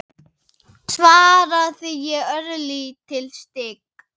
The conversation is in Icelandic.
svaraði ég, örlítið stygg.